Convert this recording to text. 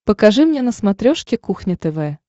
покажи мне на смотрешке кухня тв